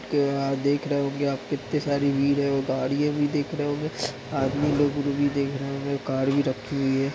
आप देख रहे होंगे कितने सारे गाडियाँ भी देख रहे होंगे आदमी लोग कार भी रखी हुई है--